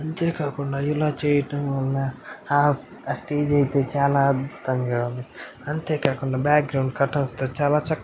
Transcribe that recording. అంతేకాకుండా ఇలా చేయటంవల్ల హ స్టేజి అయితే చాలా అద్భుతంగా ఉంది . అంతేకాకుండా బాక్గ్రౌండ్ చాలా కటౌట్స్ తో చాలా చక్కగా--